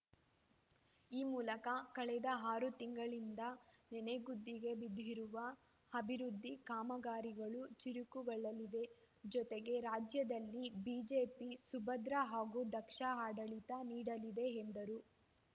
ಈ ಮೂಲಕ ಕಳೆದ ಆರು ತಿಂಗಳಿಂದ ನನೆಗುದ್ದಿಗೆ ಬಿದ್ದಿರುವ ಅಭಿವೃದ್ಧಿ ಕಾಮಗಾರಿಗಳು ಚುರುಕುಗೊಳ್ಳಲಿವೆ ಜತೆಗೆ ರಾಜ್ಯದಲ್ಲಿ ಬಿಜೆಪಿ ಸುಭದ್ರ ಹಾಗೂ ದಕ್ಷ ಆಡಳಿತ ನೀಡಲಿದೆ ಎಂದರು